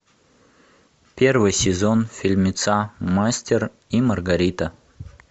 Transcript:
первый сезон фильмеца мастер и маргарита